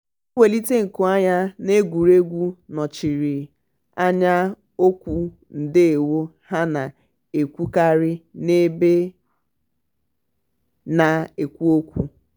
mwelite nku anya n'egwuregwu nọchiri anya okwu ndewo ha na-ekwukarị n'ebe na-ekwo ekwo.